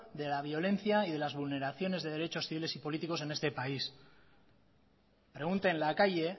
de la violencia y de las vulneraciones de derechos civiles y políticos en este país pregunte en la calle